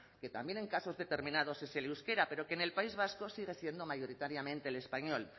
que también en casos determinados es el euskera pero que en el país vasco sigue siendo mayoritariamente el español